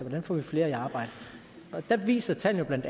vi får flere i arbejde og der viser tallene